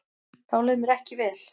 Þá leið mér ekki vel.